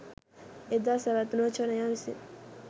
එදා සැවත්නුවර ජනයා විසින්